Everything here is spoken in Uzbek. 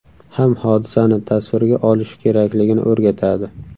ham hodisani tasvirga olishi kerakligini o‘rgatadi.